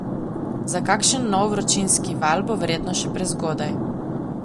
Za kakšen nov vročinski val bo verjetno še prezgodaj.